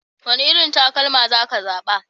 Wane irin takalma za ka zaɓa?